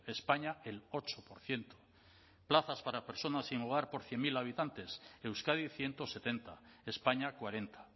españa el ocho por ciento plazas para personas sin hogar por cien mil habitantes euskadi ciento setenta españa cuarenta